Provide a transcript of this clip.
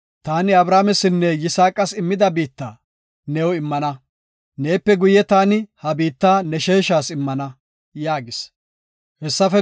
Taani Abrahaamesinne Yisaaqas immida biitta, new immana. Neepe guye taani ha biitta ne sheeshas immana” yaagis.